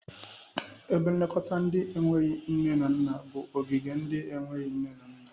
Ebe nlekọta ndị na-enweghi nne na nna bụ ogige ndị na-enweghi nne na nna.